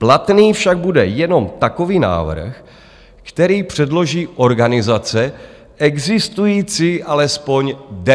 Platný však bude jenom takový návrh, který předloží organizace existující alespoň deset let.